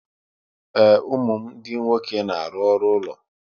Ee, ụmụ m ndị nwoke na-arụ ọrụ ụlọ